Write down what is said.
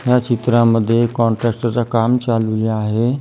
या चित्रांमध्ये कॉन्ट्रॅक्टर चे काम चालू आहे.